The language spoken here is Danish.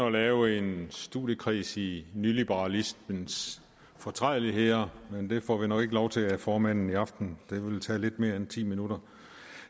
at lave en studiekreds i nyliberalismens fortrædeligheder men det får vi nok ikke lov til af formanden i aften det ville tage lidt mere end ti minutter